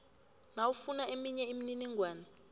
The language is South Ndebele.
nawufuna eminye imininingwana